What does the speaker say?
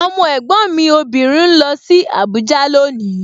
Ọmọ ẹ̀gbọ́n mi obìnrin ń lọ sí Abuja loni